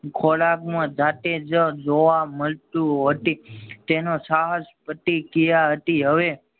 ખોરાકમાં જાતે જ જોવા મળતું હોય છે. તેનો સાહસ પ્રતિક્રિયા હતી હવે